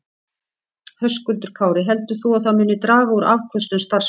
Höskuldur Kári: Heldur þú að það muni draga úr afköstum starfsmanna?